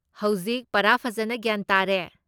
ꯍꯧꯖꯤꯛ ꯄꯨꯔꯥ ꯐꯖꯟꯅ ꯒ꯭ꯌꯥꯟ ꯇꯥꯔꯦ꯫